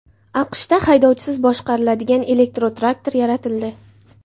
AQShda haydovchisiz boshqariladigan elektrotraktor yaratildi .